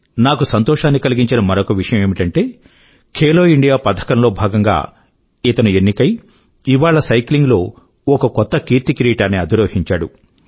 నాకు సంతోషాన్ని కలిగించిన మరొక విషయం ఏమిటంటే ఖేలో ఇండియా పథకం లో భాగం గా ఈయన ఎన్నికయి ఇవాళ సైక్లింగ్ లో ఒక కొత్త కీర్తికిదీటాన్ని అధిరోహించాడు